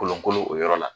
Kolon kolo o yɔrɔ la